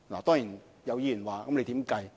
當然，有議員問如何計算？